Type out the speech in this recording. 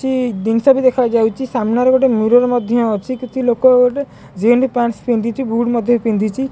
କିଛି ଜିନିଷ ବି ଦେଖାଯାଉଛି ସାମ୍ନାରେ ଗୋଟେ ମିରର ମଧ୍ୟ ଅଛି କିଛି ଲୋକ ଗୋଟେ ଜିନ୍ସ ପ୍ୟାଣ୍ଟ୍ ପିନ୍ଧିଛି ବୁଟ ପିନ୍ଧିଛି।